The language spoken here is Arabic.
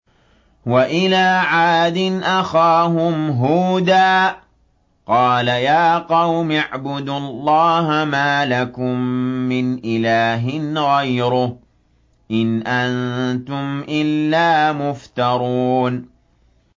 وَإِلَىٰ عَادٍ أَخَاهُمْ هُودًا ۚ قَالَ يَا قَوْمِ اعْبُدُوا اللَّهَ مَا لَكُم مِّنْ إِلَٰهٍ غَيْرُهُ ۖ إِنْ أَنتُمْ إِلَّا مُفْتَرُونَ